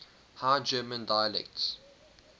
high german dialects